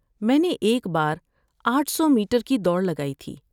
میں نے ایک بار آٹھ سو میٹر کی دوڑ لگائی تھی